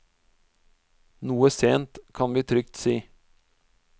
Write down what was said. Noe sent, kan vi trygt si.